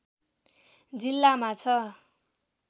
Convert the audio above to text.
जिल्लामा छ